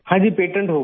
हाँ जी पेटेंट हो गया